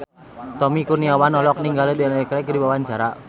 Tommy Kurniawan olohok ningali Daniel Craig keur diwawancara